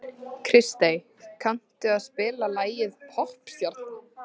Kristey, kanntu að spila lagið „Poppstjarnan“?